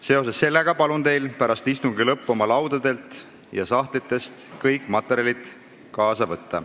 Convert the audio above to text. Seoses sellega palun teil pärast istungi lõppu oma laudadelt ja sahtlitest kõik materjalid kaasa võtta.